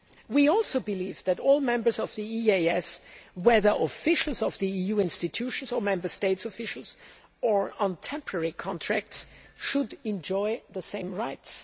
We also believe that all members of the EEAS, whether officials of the EU institutions or Member States' officials on temporary contracts, should enjoy the same rights.